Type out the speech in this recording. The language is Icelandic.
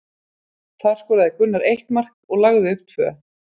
Þar skoraði Gunnar eitt mark og lagði upp tvö.